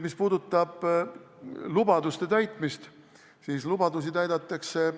Mis puudutab lubaduste täitmist, siis lubadusi täidetakse ...